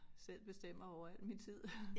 Selv bestemmer over al min tid